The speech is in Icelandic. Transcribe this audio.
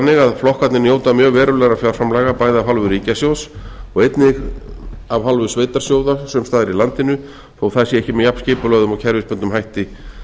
að flokkarnir njóta mjög verulegra fjárframlaga bæði af hálfu ríkissjóðs og einnig af hálfu sveitarsjóða sums staðar í landinu þó að það sé ekki með jafnskipulögðum og kerfisbundnum hætti